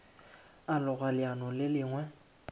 a loga leano le lengwe